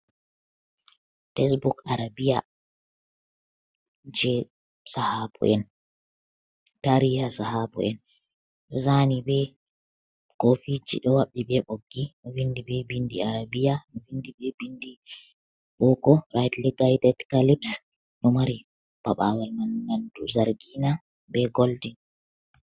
"Tesbuk" arabiya jey Sahabo'en, taariiha Sahabo'en ɗo "zaani" bee koofiiji ɗo haɓɓi bee ɓoggi, vinndi bee binndi arabiya vinndi bee binndi booko "raaytili gayded kalip" ɗo mari paɓaawal man nanndu zargiina bee "goldin".